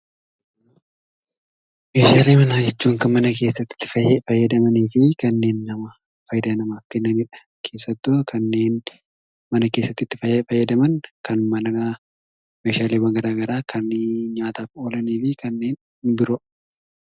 Meeshaalee manaa jechuun kana mana keessatti itti fayyadamaniifi kanneen nama fayidaa namaaf kennanidha. Keessattuu kanneen mana keessatti itti fayyadaman kan manaa meeshaaleewwan gara garaa kannen nyaataaf oolaniifi kanneen biroo.